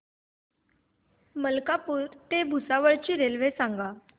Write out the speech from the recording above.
मलकापूर ते भुसावळ ची रेल्वे सांगा